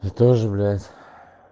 ты тоже блять